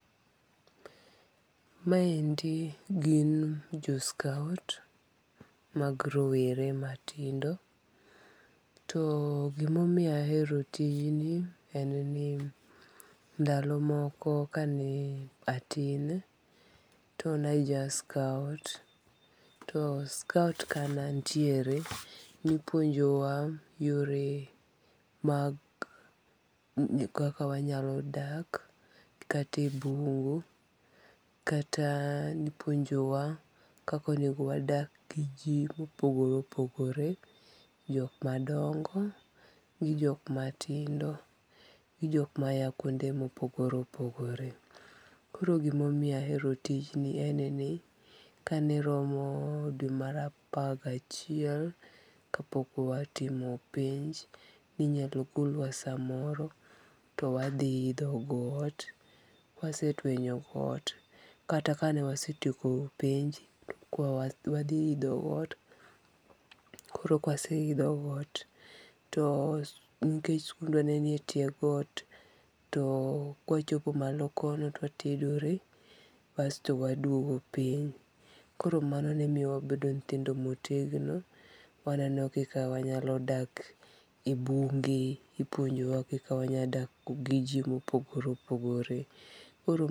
Maendi gin jo scout mag rowere matindo, too gima omiyo ahero tijni en ni ndalo moko kane atin to ne aja scout to scout kane antiere to nipuonjowa yore mag kaka wanyalo dak, kate e bungu kata nipuonjowa kaka onigo wadak gi ji mopogore opogore, jok madongo gi jok matindo gi jok maya kuonde ma opogore opogore, koro gima omiyo ahero tijni en ni kaneromo dwe mara apar gi achiel kapok watimo penj ninyalo golwa samoro to wathi itho got kwasetwenyo got kata kanewasetieko penj ko wathi itho got, koro kawaseitho got nikech skundwa ne nitiere e tye got to kawachopo malo kono to watedore basto waduogo piny, koro mano ne miyowa wabedo nyithindo motegno waneno kika wanyalo dak e bunge ipuonjowa kika wanyalodak gi ji ma opogore opogore koro.